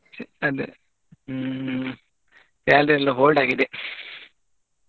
ಅದೇ hmm salary ಯೆಲ್ಲಾ hold ಆಗಿದೆ.